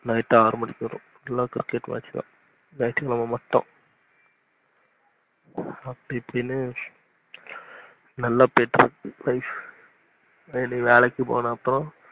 night ஆறு மணிக்கு வருவோம் நல்ல cricket match தான் ஞாயித்து கிழமை மட்டும் அப்படி இபுடின்னு நல்ல போயிட்டு இருக்கு வேலைக்கு போன அப்புறம்